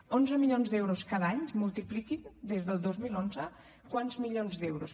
onze milions d’euros cada any multipliquin des del dos mil onze quants milions d’euros